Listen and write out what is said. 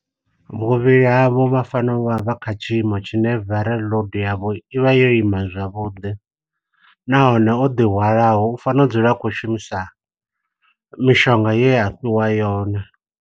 Vhuvhili havho vha fanela uvha vha kha tshiimo tshine viral load yavho i vha yo ima zwavhuḓi. Nahone o ḓi hwalaho u fanela u dzula a khou shumisa mishonga ye afhiwa yone.